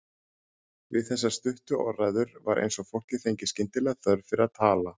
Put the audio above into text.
Við þessar stuttu orðræður var eins og fólkið fengi skyndilega þörf fyrir að tala.